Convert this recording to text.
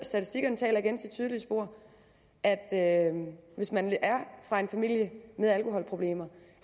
statistikkerne taler igen deres tydelige sprog at at hvis man er fra en familie med alkoholproblemer